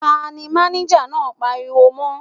Ta ni máníjà náà pariwo mọ́.?